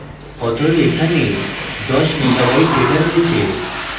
অতএব এখানে দশ লক্ষ megabyte ডেটা রয়েছে